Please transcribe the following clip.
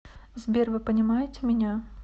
сбер вы понимаете меня